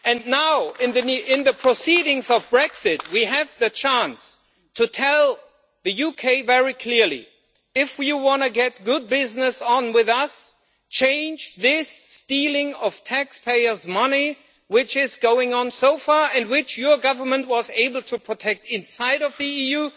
Now, in the proceedings of Brexit, we have the chance to tell the UK very clearly if you want to get good business with us, you must change this stealing of taxpayers' money, which has been going on so far and which your Government was able to protect inside the EU.